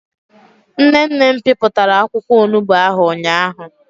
Nne nne m piputara akwukwo onugbo ahu ụnyahụ.